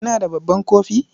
kina da babban kofi?